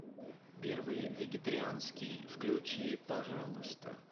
первый вегетарианский включи пожалуйста